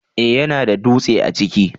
eh ya na da dutse a ciki